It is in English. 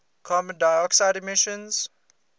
carbon dioxide emissions